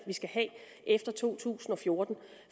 vi skal have efter to tusind og fjorten